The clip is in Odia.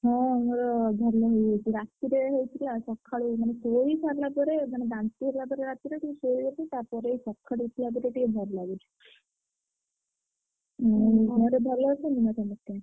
ହଁ ମୋର ଭଲ ହେଇଯାଇଚି, ରାତିରେ ହେଇଥିଲା ସଖାଳୁ ମାନେ ଶୋଇସାରିଲା ପରେ ଟିକେ ଭଲ ଲାଗୁଛି।